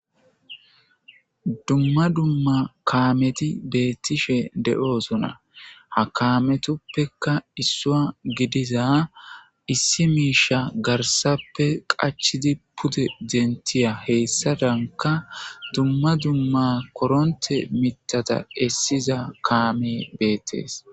Duma duma kaameti beetishe de'osona ha kaametuppeka issuwa gidiza issi miisha garsappe qachidi pude dentiya hessadanka duma duma koronte mithata essiza kaamey beetes.